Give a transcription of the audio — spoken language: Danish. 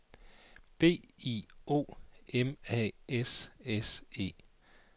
B I O M A S S E